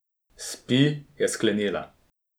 Spi, je sklenila.